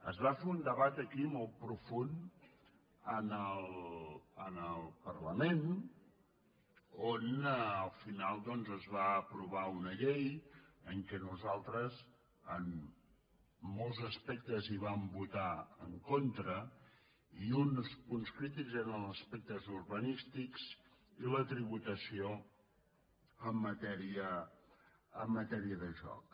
es fa fer un debat aquí molt profund en el parlament on al final es va aprovar una llei en què nosaltres en molts aspectes hi vam votar en contra i uns punts crítics eren els aspectes urbanístics i la tributació en matèria de joc